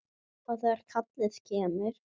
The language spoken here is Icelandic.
Og þegar kallið kemur.